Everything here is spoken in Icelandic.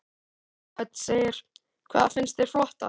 Hödd: Hvað finnst þér flottast?